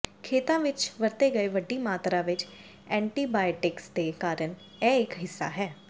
ਖੇਤਾਂ ਵਿੱਚ ਵਰਤੇ ਗਏ ਵੱਡੀ ਮਾਤਰਾ ਵਿੱਚ ਐਂਟੀਬਾਇਓਟਿਕਸ ਦੇ ਕਾਰਨ ਇਹ ਇੱਕ ਹਿੱਸਾ ਹੈ